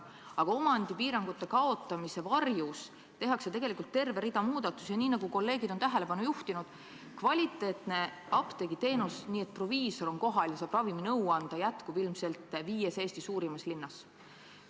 Aga omandipiirangute kaotamise varjus tehakse tegelikult terve rida muid muudatusi ja – nagu kolleegid on tähelepanu juhtinud – kvaliteetne apteegiteenus, mille korral proviisor on apteegis kohal ja saab raviminõu anda, jääb püsima ilmselt viies Eesti suuremas linnas.